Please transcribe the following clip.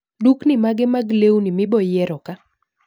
Dukni mage mag lewni miboyiero kaa